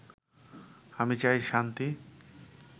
আমি চাই শান্তি